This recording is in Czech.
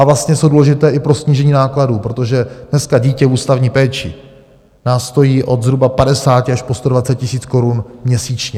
A vlastně jsou důležité i pro snížení nákladů, protože dneska dítě v ústavní péči nás stojí od zhruba 50 až po 120 tisíc korun měsíčně.